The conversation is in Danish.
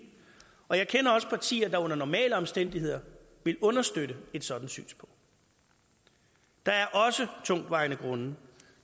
og jeg kender også partier der under normale omstændigheder vil understøtte et sådant synspunkt der er også tungtvejende grunde